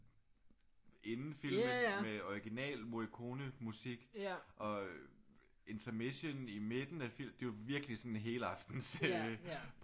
Inden filmen med original Morricone musik og intermission i midten af filmen det var virkelig sådan en helaftens serie